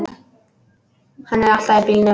Hann er aftan í bílnum!